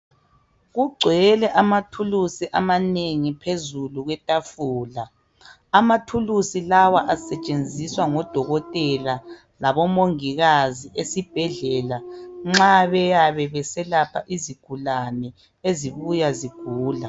Kugcwele amathuluzi amanengi phezulu kwetafula ,amathuluzi lawa asetshenziswa ngodokotela labo mongikazi esibhedlela nxa beyabe beyelapha izigulane ezibuya zigula.